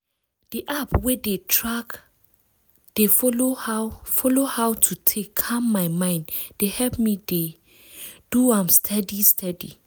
di app wey dey tack dey follow how follow how to take calm my mind dey help me dey ah! do am steady steady.